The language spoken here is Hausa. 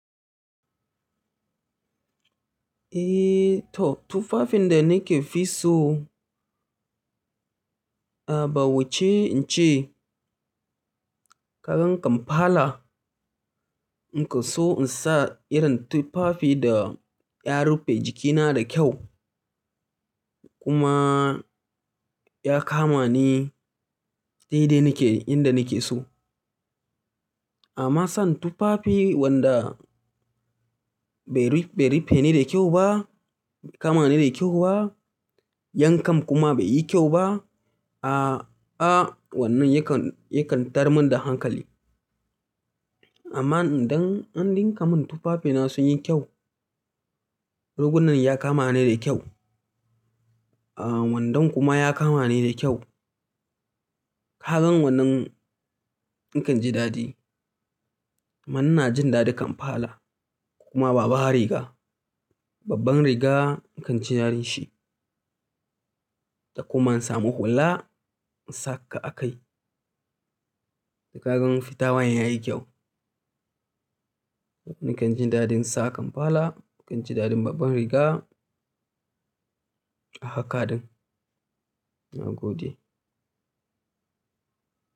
Eh to tufafin da nafi so, ah bai wuce in ce, ka gan kampala, ni kan so in sa irin tufafi da ya rufe jikina da kyau kuma ya kama ni dai dai inda nake so. Amma son tufafi wanda bai rufe ni da kyau ba, kama ni da kyau ba, yankan kuma bai yi kyau ba, a'a wannan yakan tayar min da hankali. Amma idan an ɗinka mun tufafina sun yi kyau, rigunan ya kama ni da kyau, ah wandon kuma ya kama ni da kyau, ka gan wannan ni kan ji daɗi. Amma ina jin daɗin kampala, kuma babban riga, babban riga ni kan ji daɗin shi da kuma samu hula in saka a kai, da ka gan fitawan ya yi kyau. Ni kan ji daɗin sa kampala, ni kan ji daɗin babban riga a haka din. Na gode.